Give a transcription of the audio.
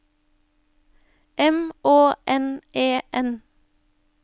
M Å N E N